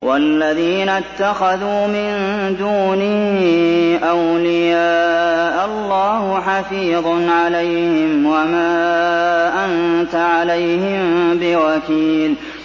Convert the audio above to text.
وَالَّذِينَ اتَّخَذُوا مِن دُونِهِ أَوْلِيَاءَ اللَّهُ حَفِيظٌ عَلَيْهِمْ وَمَا أَنتَ عَلَيْهِم بِوَكِيلٍ